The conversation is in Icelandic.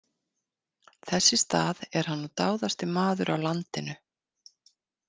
Þess í stað er hann nú dáðasti maður á landinu.